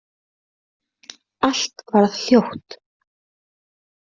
Allt varð hljótt.